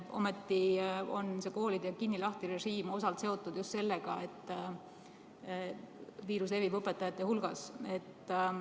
Ometi on koolide kinni-lahti-režiim osalt seotud just sellega, et viirus levib õpetajate hulgas.